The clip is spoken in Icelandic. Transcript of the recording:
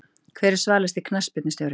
Hver er svalasti knattspyrnustjórinn?